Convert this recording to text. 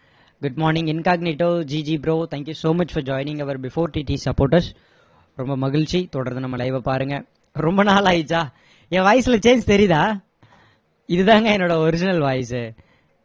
good morning incognitive GG bro thank you so much for joining our before TT supporters ரொம்ப மகிழ்ச்சி தொடர்ந்து நம்ம live வ பாருங்க ரொம்ப நாள் ஆகிடுச்சா என் voice ல change தெரியுதா இது தாங்க என்னோட original voice ஏ